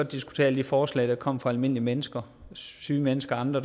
diskutere alle de forslag der kommer fra almindelige mennesker syge mennesker og andre